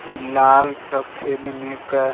लाल सफेद में क --